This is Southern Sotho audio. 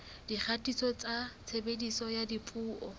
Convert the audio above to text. dikgatiso tsa tshebediso ya dipuo